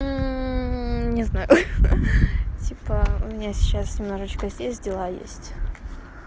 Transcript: не знаю хи-хи типа у меня сейчас немножечко здесь дела есть